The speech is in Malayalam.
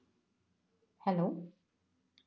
hello